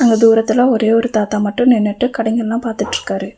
தூரத்துல ஒரே ஒரு தாத்தா மட்டும் நின்னுட்டு கடைங்கலா பாத்துட்ருக்காரு.